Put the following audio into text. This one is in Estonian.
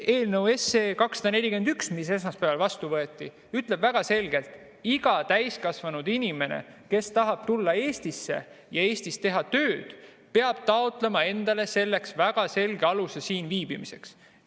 Eelnõu 241, mis esmaspäeval vastu võeti, ütleb väga selgelt: iga täiskasvanud inimene, kes tahab tulla Eestisse ja Eestis tööd teha, peab taotlema endale väga selge aluse siin viibimiseks.